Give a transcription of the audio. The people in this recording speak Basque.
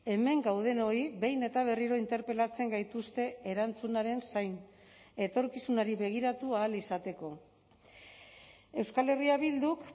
hemen gaudenoi behin eta berriro interpelatzen gaituzte erantzunaren zain etorkizunari begiratu ahal izateko euskal herria bilduk